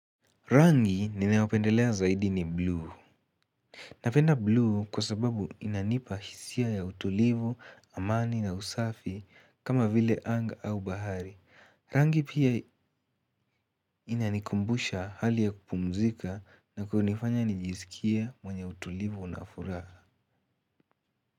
Rangi ninayopendelea zaidi ni buluu. Napenda blue kwa sababu inanipa hisia ya utulivu, amani na usafi kama vile anga au bahari. Rangi pia inanikumbusha hali ya kupumzika na kunifanya nijisikie mwenye utulivu na furaha.